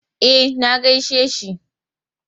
E, na gaishe shi.